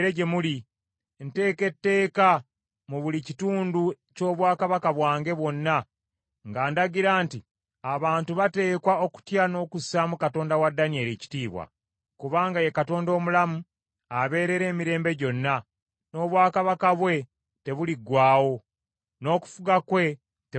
“Nteeka etteeka mu buli kitundu ky’obwakabaka bwange bwonna nga ndagira nti abantu bateekwa okutya n’okussaamu Katonda wa Danyeri ekitiibwa. “Kubanga ye Katonda omulamu, abeerera emirembe gyonna; n’obwakabaka bwe tebuliggwaawo, n’okufuga kwe tekulikoma.